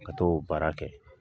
Ka t'o baara kɛ.